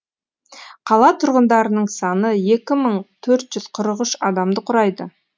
қала тұрғындарының саны екі мың төрт жүз қырық үш адамды құрайды